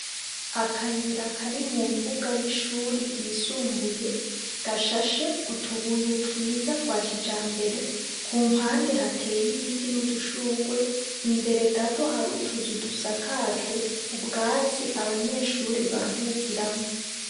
Akayira kari mu mbuga y'ishure ryisumbuye, gashashe utubuye twiza twa kijambere. Ku mpande, hateye ibiti n'udushurwe. Imbere gato, hari utuzu dusakajwe ubwatsi, abanyeshure baruhukiramwo.